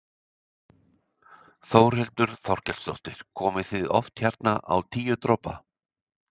Þórhildur Þorkelsdóttir: Komið þið oft hérna á Tíu dropa?